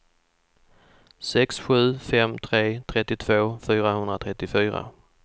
sex sju fem tre trettiotvå fyrahundratrettiofyra